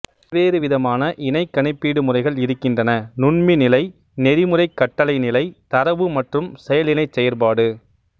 பல்வேறு விதமான இணைக் கணிப்பீடு முறைகள் இருக்கின்றன நுண்மிநிலை நெறிமுறைக் கட்டளை நிலை தரவு மற்றும் செயல் இணைச் செயற்பாடு